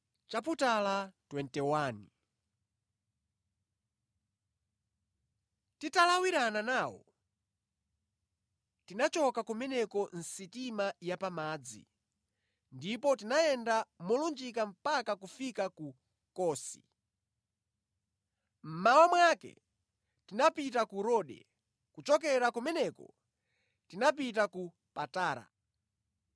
Titalawirana nawo, tinachoka kumeneko mʼsitima ya pamadzi, ndipo tinayenda molunjika mpaka kufika ku Kosi. Mmawa mwake tinapita ku Rode, kuchokera kumeneko tinapita ku Patara.